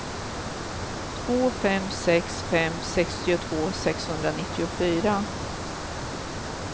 två fem sex fem sextiotvå sexhundranittiofyra